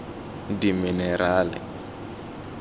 dimenerale